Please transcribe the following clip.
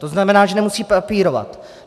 To znamená, že nemusí papírovat.